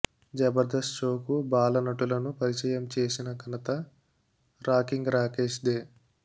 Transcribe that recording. జబర్తస్త్ షోకు బాల నటులను పరిచయం చేసిన ఘనత రాకింగ్ రాకేష్దే